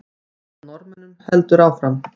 Leit að Norðmönnunum heldur áfram